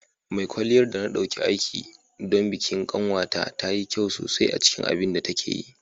Mai kwalliyar da na ɗauki aiki don bikin ƙanwata ta yi kyau sosai a cikin abin da take yi.